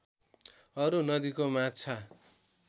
अरू नदीको माछा